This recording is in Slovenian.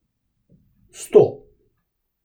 Sto?